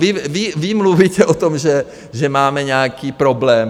Vy mluvíte o tom, že máme nějaký problém.